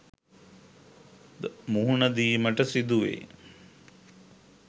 ද මුහුණ දීමට සිදුවෙයි.